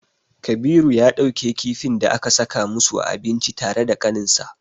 Kabiru ya ɗauke kifin da aka saka musu a abinci tare da kaninshi.